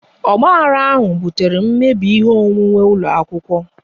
Ogbahara ahụ butere mmebi ihe onwunwe ụlọ akwụkwọ